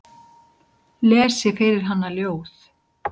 Lesi fyrir hana ljóð.